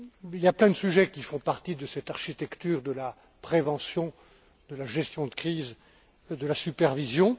Il y a plein de sujets qui font partie de cette architecture de la prévention, de la gestion de crise, de la supervision.